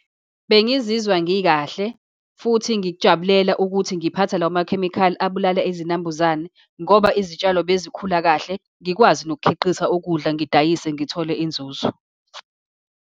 Bengizizwa ngikahle, futhi ngikujabulela ukuthi ngiphatha lawo makhemikhali abulala izinambuzane, ngoba izitshalo bezikhula kahle, ngikwazi nokukhiqiza ukudla, ngidayise, ngithole inzuzo.